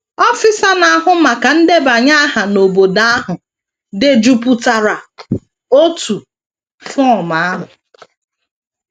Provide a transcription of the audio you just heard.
Ọfịsa na - ahụ maka ndebanye aha n’obodo ahụ dejupụtara otu fọm ahụ.